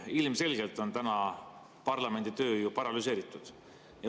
Ilmselgelt on täna parlamendi töö ju paralüseeritud.